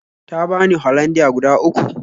Ta bani Hollandia guda uku